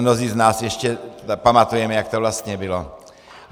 Mnozí z nás ještě pamatujeme, jak to vlastně bylo.